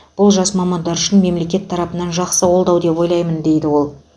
бұл жас мамандар үшін мемлекет тарапынан жақсы қолдау деп ойлаймын дейді ол